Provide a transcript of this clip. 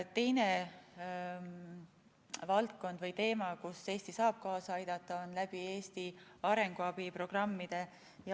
Teine valdkond või teema, kus Eesti saab kaasa aidata, on Eesti arenguabiprogrammid.